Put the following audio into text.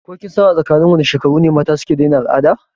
Ko kinsan a tsakinin wane shekaru ne mata suke daina al'ada?